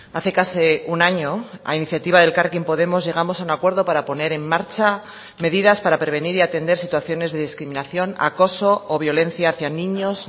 hace casi un año a iniciativa de elkarrekin podemos llegamos a un acuerdo para poner en marcha medidas para prevenir y atender situaciones de discriminación acoso o violencia hacía niños